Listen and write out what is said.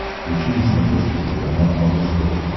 включи на смотрешке телеканал малыш тв